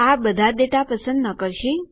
આ બધા ડેટા પસંદ ન કરશે